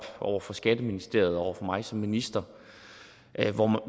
over for skatteministeriet og over for mig som minister